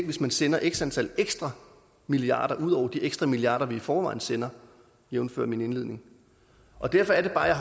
hvis man sender x antal ekstra milliarder ud over de ekstra milliarder vi i forvejen sender jævnfør min indledning derfor er det bare jeg